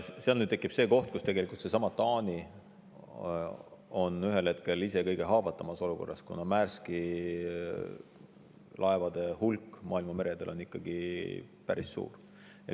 Seal tekib see koht, kus seesama Taani on ühel hetkel ise kõige haavatavamas olukorras, kuna Maerski laevade hulk maailma meredel on ikkagi päris suur.